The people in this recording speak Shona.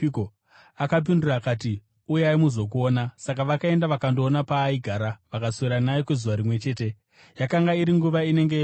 Akapindura akati, “Uyai muzokuona.” Saka vakaenda vakandoona paaigara, vakaswera naye kwezuva rimwe chete. Yakanga iri nguva inenge yegumi.